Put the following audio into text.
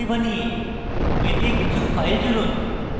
রিপোজিটরীতে কিছু files জুড়ুন